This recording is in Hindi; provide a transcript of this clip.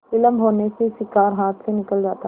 विलम्ब होने से शिकार हाथ से निकल जाता